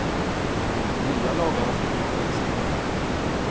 Nya lagar och förbud växer fram.